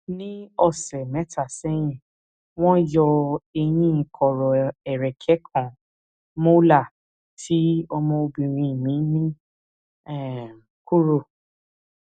ní ọsẹ mẹta sẹyìn wọn yọ eyín kọrọ ẹrẹkẹ kan molar tí ọmọbìnrin mi ní um kúrò